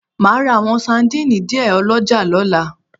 Màá ra àwọn sandínì díẹ̀ ọlọ́jà lọ́la